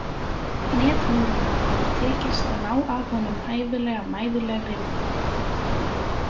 Netmiðlunum hefur tekist að ná af honum hæfilega mæðulegri mynd.